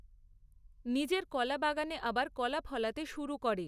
নিজের কলা বাগানে আবার কলা ফলাতে শুরু করে।